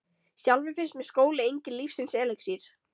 Sjálfri finnst mér skóli enginn lífsins elexír.